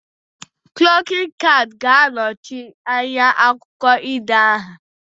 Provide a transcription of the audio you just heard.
Klokin cad ga anochi anya akwukwo ide aha